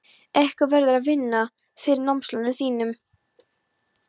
Einhver verður að vinna fyrir námslánunum þínum.